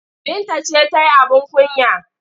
Binta ce ta yi abin kunya.